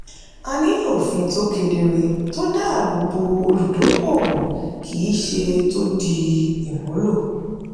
a nílò òfin tó kedere tó dáàbò bo olùdókòwò kì í ṣe tó dí ìmúlò.